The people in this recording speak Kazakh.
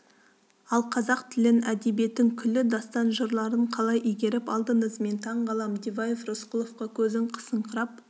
ал қазақ тілін әдебиетін күллі дастан жырларын қалай игеріп алдыңыз мен таңғаламын диваев рысқұловқа көзін қысыңқырап